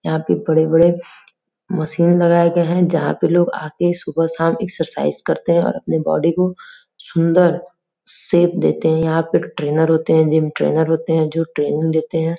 यहाँ पे बड़े बड़े मशीन लगाये गये हैं जहाँ पे लोग आ के सुबह शाम एक्सरसाइज करते हैं और अपनी बॉडी को सुंदर शेप देते हैं। यहाँ पे ट्रेनर होते हैं जिम ट्रेनर होते हैं जो ट्रेनिंग देते हैं।